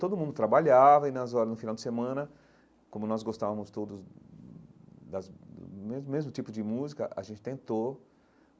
Todo mundo trabalhava, e nas horas no final de semana, como nós gostávamos todos das do mesmo tipo de música, a a gente tentou.